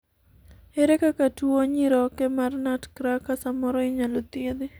ere kaka tuo nyiroke mar nutcracker samoro inyalo thiedhi?